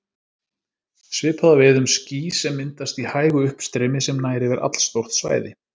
Svipað á við um ský sem myndast í hægu uppstreymi sem nær yfir allstórt svæði.